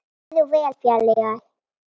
Farðu vel félagi.